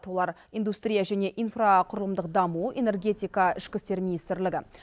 олар индустрия және инфрақұрылымдық даму энергетика ішкі істер министрлігі